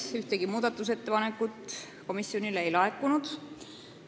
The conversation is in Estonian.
Ühtegi muudatusettepanekut selleks ajaks komisjonile ei laekunud.